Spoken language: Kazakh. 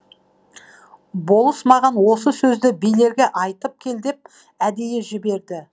болыс маған осы сөзді билерге айтып кел деп әдейі жіберді